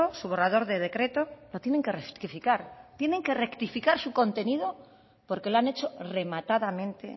su borrador de decreto lo tienen que rectificar tienen que rectificar su contenido porque lo han hecho rematadamente